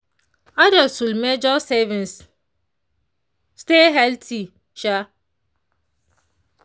adults should measure servings stay healthy. um